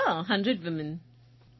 યા 100 women's